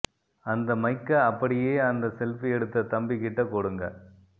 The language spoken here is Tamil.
அந்த மைக்க அப்படியே அந்த செல்பி எடுத்த தம்பி கிட்ட கொடுங்க